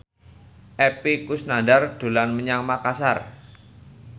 Epy Kusnandar dolan menyang Makasar